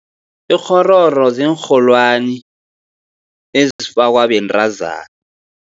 Ikghororo ziinrholwani, ezifakwa bentazana.